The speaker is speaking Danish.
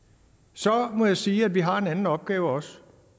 så må jeg sige at vi har en anden opgave også